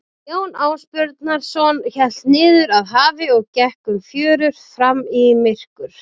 Jón Ásbjarnarson hélt niður að hafi og gekk um fjörur fram í myrkur.